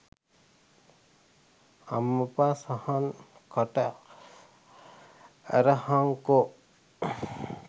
අම්මප සහන් කට ඇරහංකො